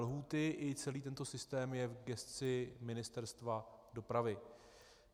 Lhůty i celý tento systém je v gesci Ministerstva dopravy.